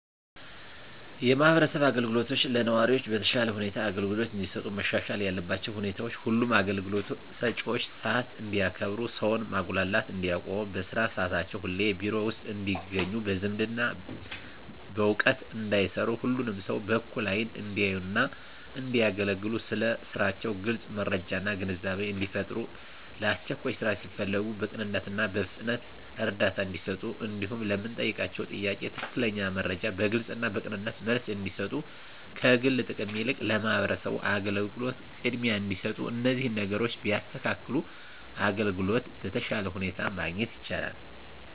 የማህበረሰብ አገልግሎቶች ለነዋሪዎች በተሻለ ሁኔታ አገልግሎት እንዲሰጡ መሻሻል ያለባቸው ሁኔታዎች ሁሉም አገልግሎት ሰጭዎች ሰዓት እንዲያከብሩ ሰውን ማጉላላት እንዲያቆሙ በስራ ሰዓታቸው ሁሌም ቢሮ ውስጥ እንዲገኙ በዝምድና በእውቅና እንዳይሰሩ ሁሉንም ሰው በእኩል አይን እንዲያዩና እንዲያገለግሉ ስለ ስራቸው ግልጽ መረጃና ግንዛቤን እንዲፈጥሩ ለአስቸኳይ ስራ ሲፈለጉ በቅንነትና በፍጥነት እርዳታ እንዲሰጡ እንዲሁም ለምንጠይቃቸው ጥያቄ ትክክለኛ መረጃ በግልጽና በቅንነት መልስ እንዲሰጡ ከግል ጥቅም ይልቅ ለማህበረሰቡ አገልግሎት ቅድሚያ እንዲሰጡ እነዚህን ነገሮች ቢያስተካክሉ አገልግሎት በተሻለ ሁኔታ ማግኘት ይቻላል።